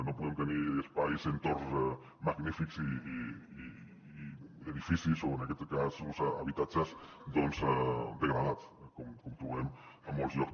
no podem tenir espais entorns magnífics i edificis o en aquest cas habitatges doncs degradats com trobem a molts llocs